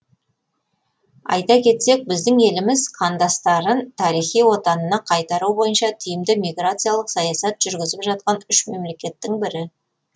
айта кетсек біздің еліміз қандастарын тарихи отанына қайтару бойынша тиімді миграциялық саясат жүргізіп жатқан үш мемлекеттің бірі